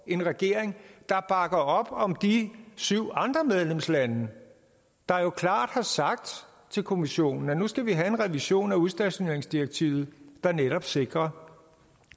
en regering der bakker op om de syv andre medlemslande der jo klart har sagt til kommissionen at nu skal vi have en revision af udstationeringsdirektivet der netop sikrer